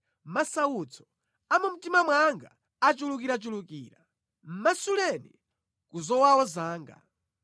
Masautso a mu mtima mwanga achulukirachulukira; masuleni ku zowawa zanga.